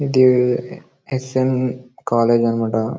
ఇది S N. College అనమాట.